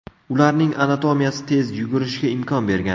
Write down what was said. Ularning anatomiyasi tez yugurishga imkon bergan.